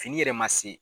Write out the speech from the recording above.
Fini yɛrɛ ma se